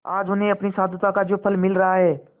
आज उन्हें अपनी साधुता का जो फल मिल रहा है